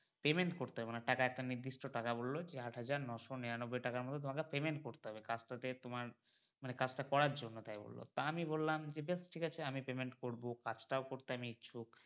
payment করতে মানে টাকা একটা নির্দিষ্ট টাকা বললো যে আট হাজার নয়শ নিরানব্বই টাকা মতো তোমাকে payment করতে হবে কাজ টা তে তোমার মানে কাজটা করার জন্য তাই বললো তা আমি বললাম যে বেশ ঠিক ছে আমি payment করবো কাজটাও করতে আমি ইচ্ছুক।